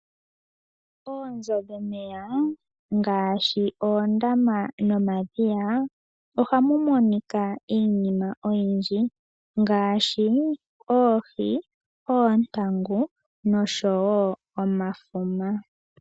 Oonzo dhomeya ngaashi oondama nomadhiya ohamu monika iinima oyindji ngaashi oohi, oontangu noshowo omafuma.